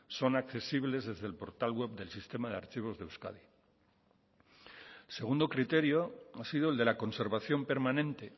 son accesibles desde el portal web del sistema de archivos de euskadi el segundo criterio ha sido el de la conservación permanente